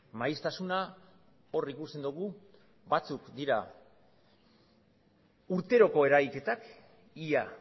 maiztasuna hor ikusten dugu batzuk dira urteroko eragiketak ia